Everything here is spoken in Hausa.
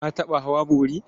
Ka taɓa hawa bori?